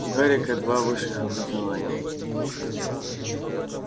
у гарика два высших образования